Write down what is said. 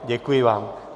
Děkuji vám.